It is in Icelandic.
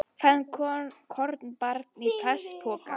Fann kornabarn í plastpoka